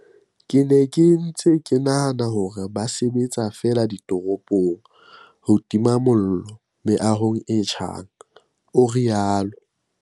"Ke ne ke ntse ke nahana hore ba sebetsa feela ditoropong ho tima mollo meahong e tjhang," o rialo.